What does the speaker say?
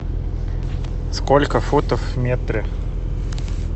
сколько футов в метре